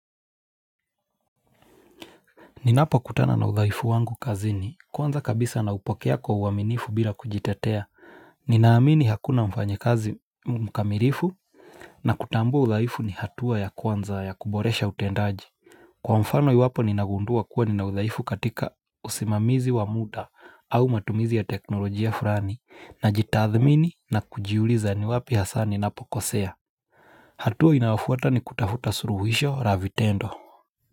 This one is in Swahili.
Ninapo kutana na uthaifu wangu kazini, kwanza kabisa naupokea kwa uaminifu bila kujitetea. Ninaamini hakuna mfanyikazi mkamilifu. Na kutambua uthaifu ni hatua ya kwanza ya kuboresha utendaji. Kwa mfano yu wapo ninagundua kuwa nina uthaifu katika usimamizi wa muda au matumizi ya teknolojia furani najitathmini na kujiuliza ni wapi haswa ninapokosea. Hatua inayofuata ni kutafuta suluhisho la vitendo.